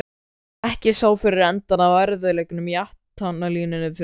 Ekki sá fyrir endann á erfiðleikunum í athafnalífinu fyrir austan.